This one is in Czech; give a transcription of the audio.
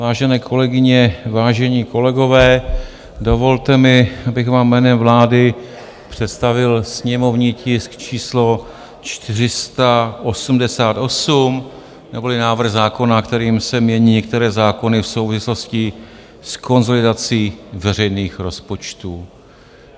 Vážené kolegyně, vážení kolegové, dovolte mi, abych vám jménem vlády představil sněmovní tisk číslo 488 neboli návrh zákona, kterým se mění některé zákony v souvislosti s konsolidací veřejných rozpočtů.